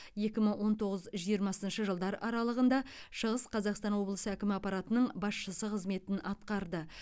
екі мың он тоғыз жиырмасыншы жылдар аралығында шығыс қазақстан облысы әкімі аппаратының басшысы қызметін атқарды